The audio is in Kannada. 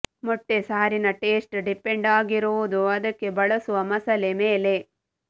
ಮೊಟ್ಟೆ ಸಾರಿನ ಟೇಸ್ಟ್ ಡಿಪೆಂಡ್ ಆಗಿರುವುದು ಅದಕ್ಕೆ ಬಳಸುವ ಮಸಾಲೆ ಮೇಲೆ